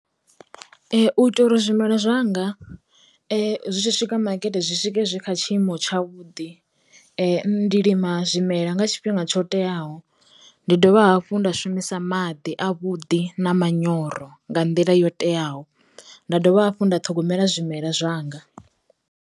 U itela uri zwimela zwanga zwi tshi swika makete zwi swike zwi kha tshiimo tsha vhudi, ndi lima zwimela nga tshifhinga tsho teaho, ndi dovha hafhu nda shumisa maḓi a vhuḓi na manyoro nga nḓila yo teaho, nda dovha hafhu nda ṱhogomela zwimela zwanga.